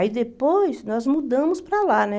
Aí depois nós mudamos para lá, né?